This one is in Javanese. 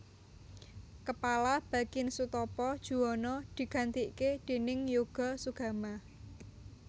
Kepala Bakin Soetopo Juwono digantike déning Yoga Sugama